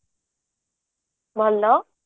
ଭଲ